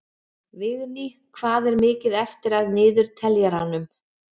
Vigný, hvað er mikið eftir af niðurteljaranum?